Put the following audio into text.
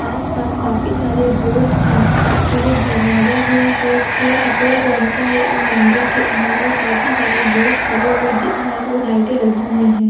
आस-पास काफी सारे बोट है और एक दरवाजा है जो की सफेद रंग का है एक मंदिर के अंदर काफी सारे लोग खड़े हुए दिख रहे है और लाइटें लगी हुई हैं।